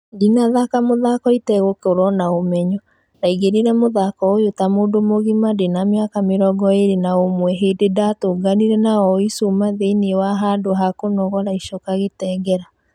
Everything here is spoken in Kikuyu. "ndinathaka mũthako itegũkorwo na ũmenyo , ndaingĩrire mũthako ũyo ta mũndũ mũgima ndĩna miaka mĩrongo ĩrĩ na imwe hĩndĩ ndatũnganire na aoyi cuma thĩinĩ wa handũ hakũnogora icoka gĩtengera."